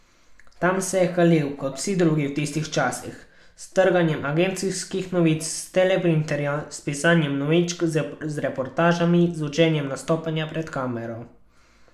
Tam se je kalil, kot vsi drugi v tistih časih, s trganjem agencijskih novic s teleprinterja, s pisanjem novičk, z reportažami, z učenjem nastopanja pred kamero.